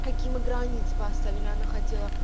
какими границ она хотела